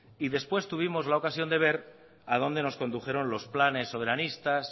y después tuvimos la ocasión de ver a dónde nos condujeron los planes soberanistas